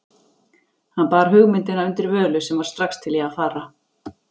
Hann bar hugmyndina undir Völu, sem var strax til í að fara.